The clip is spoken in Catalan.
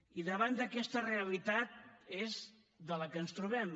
i davant d’aquesta realitat és on ens trobem